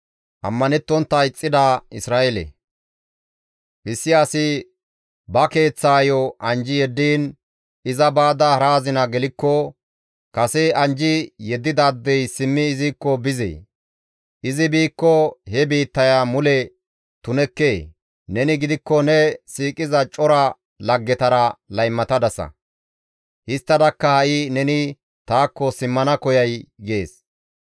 «Issi asi ba keeththaayo anjji yeddiin iza baada hara azina gelikko, kase anjji yeddidaadey simmi izikko bizee? izi biikko he biittaya mule tunekkee? Neni gidikko ne siiqiza cora laggetara laymatadasa; histtadakka ha7i neni taakko simmana koyay?» gees.